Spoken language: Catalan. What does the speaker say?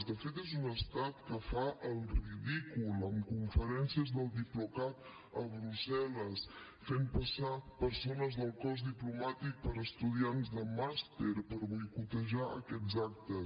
de fet és un estat que fa el ridícul en conferències del diplocat a brussel·les fent passar persones del cos diplomàtic per estudiants de màster per boicotejar aquests actes